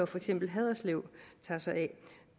for eksempel haderslev tager sig af